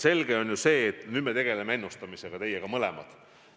Selge on, et nüüd me tegeleme ennustamisega, meie mõlemad.